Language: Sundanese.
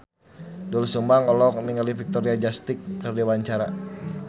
Doel Sumbang olohok ningali Victoria Justice keur diwawancara